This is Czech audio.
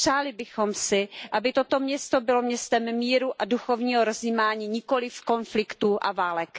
Přáli bychom si, aby toto město bylo městem míru a duchovního rozjímání, nikoliv konfliktů a válek.